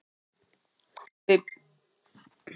Við búumst ekki við að hann sé frá út tímabilið.